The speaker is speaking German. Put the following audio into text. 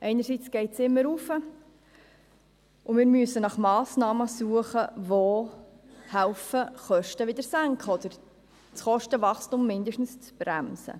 Einerseits geht es immer hinauf, und wir müssen nach Massnahmen suchen, welche helfen, die Kosten wieder zu senken oder das Kostenwachstum zumindest zu bremsen.